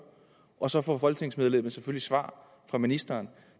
og så får folketingsmedlemmet svar fra ministeren